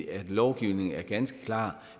at lovgivningen er ganske klar